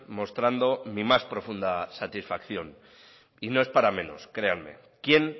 mostrando mi más profunda satisfacción y no es para menos créanme quién